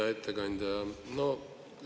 Hea ettekandja!